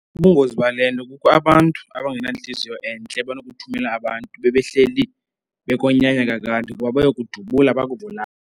Ubungozi bale nto kukho abantu abangenantliziyo entle banokuthumela abantu bebehleli bekonyanya kade ukuba bayokudubula bakubulale.